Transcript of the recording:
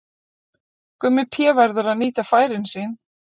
Gummi Pé verður að nýta færin sín!